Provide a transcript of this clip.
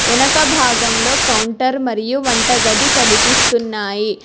ఎనక భాగంలో కౌంటర్ మరియు వంటగది కనిపిస్తున్నాయి.